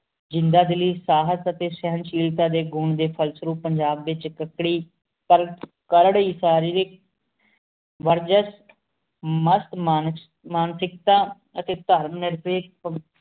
ਜੰਦਾ ਦਿਲੀ ਸਹੇਟ ਸ਼ਾਨ ਸ਼ਾਹੀ ਸਾਡੀ ਘੁਰ ਡੀ ਫੇਰ੍ਸਾਰੁਣ ਪੰਜਾਬ ਡੀ ਕਾਰਕ ਸਰ੍ਨਿਕ ਵੇਰ੍ਜ੍ਸ ਮੁਸਤ ਮੰਤ ਮੰਤਿਕਆ ਏਤੀ ਤੂੰ ਮਾਕਿਸ਼